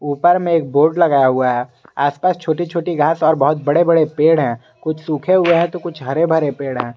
उपर में एक बोर्ड लगाया हुआ है आसपास छोटी छोटी घास और बहुत बड़े बड़े पेड़ हैं कुछ सूखे हुए हैं तो कुछ हरे भरे पेड़ हैं।